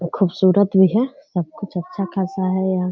खुबसूरत भी है सब कुछ अच्छा खासा है यहाँ।